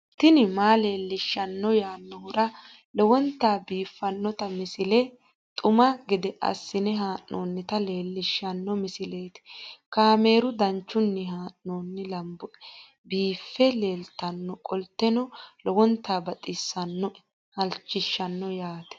tini maa leelishshanno yaannohura lowonta biiffanota misile xuma gede assine haa'noonnita leellishshanno misileeti kaameru danchunni haa'noonni lamboe biiffe leeeltannoqolten lowonta baxissannoe halchishshanno yaate